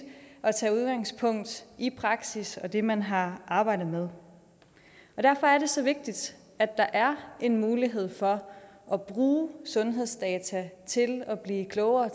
at tage udgangspunkt i praksis og det man har arbejdet med derfor er det så vigtigt at der er en mulighed for at bruge sundhedsdata til at blive klogere